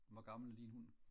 hvor gammel er din hund